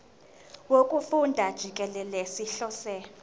wokufunda jikelele sihlose